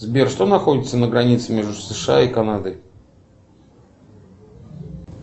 сбер что находится на границе между сша и канадой